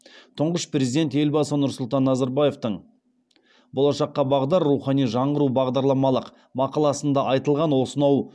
тұңғыш президент елбасы нұрсұлтан назарбаевтың болашаққа бағдар рухани жаңғыру бағдарламалық мақаласында айтылған осынау